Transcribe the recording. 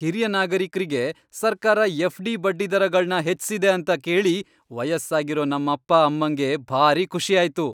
ಹಿರಿಯ ನಾಗರಿಕ್ರಿಗೆ ಸರ್ಕಾರ ಎಫ್ ಡಿ ಬಡ್ಡಿದರಗಳ್ನ ಹೆಚ್ಸಿದೆ ಅಂತ ಕೇಳಿ ವಯಸ್ಸಾಗಿರೋ ನಮ್ಮಪ್ಪ ಅಮ್ಮಂಗೆ ಭಾರಿ ಖುಷಿ ಆಯ್ತು.